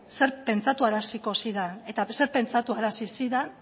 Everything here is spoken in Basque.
zer pentsaraziko zidan eta zer pentsarazi zidan